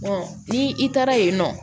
ni i taara yen nɔ